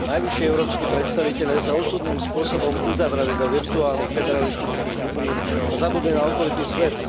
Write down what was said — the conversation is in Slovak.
Najvyšší európski predstavitelia sa osudným spôsobom uzavreli do virtuálnych federalistických bublín a zabudli na okolitý svet.